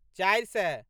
चारि सए